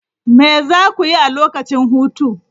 Me za ku yi a lokacin hutu?